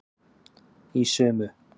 Í sömu